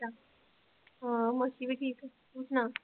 ਹਾਂ ਮਾਸੀ ਵੀ ਠੀਕ ਆ, ਤੂੰ ਸੁਣਾ।